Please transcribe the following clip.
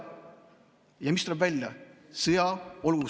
Ja mis tuleb välja?